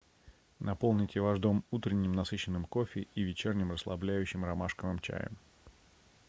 наполните ваш дом утренним насыщенным кофе и вечерним расслабляющим ромашковым чаем